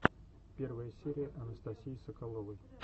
первая серия анастасии соколовой